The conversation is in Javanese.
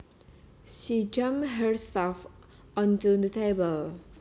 She dumped her stuff onto the table